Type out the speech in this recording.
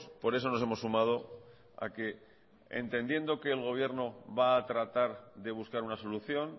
por eso nos hemos sumado a que el entendiendo que el gobierno va a tratar de buscar una solución